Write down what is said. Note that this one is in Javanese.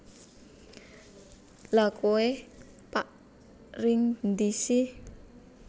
Lha kowe pak ring ndi si